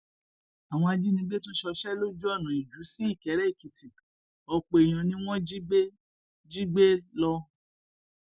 àwọn ajínigbé tún ṣọṣẹ lójú ọnà iju sí ìkéréèkìtì ọpọ èèyàn ni wọn jí gbé jí gbé lọ